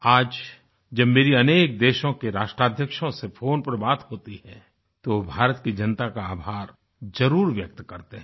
आज जब मेरी अनेक देशों के राष्ट्राध्यक्षों से फ़ोन पर बात होती है तो वो भारत की जनता का आभार जरुर व्यक्त करते है